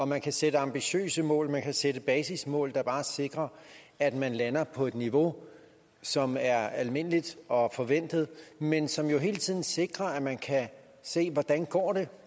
man kan sætte ambitiøse mål og man kan sætte basismål der bare sikrer at man lander på et niveau som er almindeligt og forventet men som jo hele tiden sikrer at man kan se hvordan går det